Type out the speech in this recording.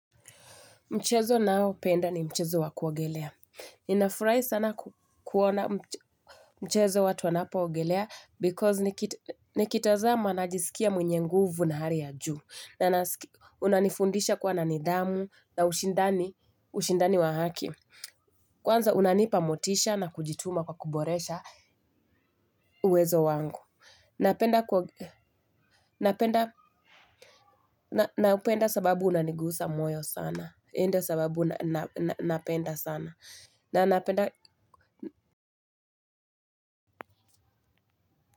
Mchezo naopenda ni mchezo wa kuogelea. Ninafurahi sana kuona mchezo watu wanapoogelea because nikitazama najisikia mwenye nguvu na hari ya juu. Unanifundisha kwa na nidhamu na ushindani wa haki. Kwanza unanipa motisha na kujituma kwa kuboresha uwezo wangu. Napenda sababu unanigusa moyo sana. Ndiyo sababu napenda sana. Na na penda.